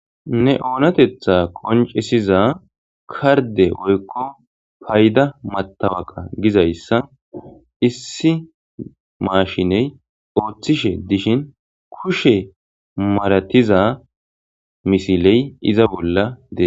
ne oonatetha koncisiza karde oykko payda matawaqa gizayssa issi maashiney ooththishe dishin kushe maratiza misiley iza bolla dee